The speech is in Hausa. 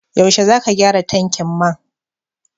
Yaushe zaka gyara tankin man?